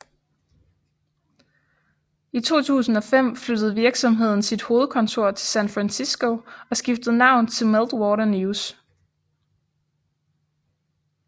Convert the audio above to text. I 2005 flyttede virksomheden sit hovedkontor til San Francisco og skiftede navn til Meltwater News